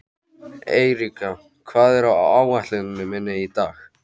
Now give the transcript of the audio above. Eiríka, hvað er á áætluninni minni í dag?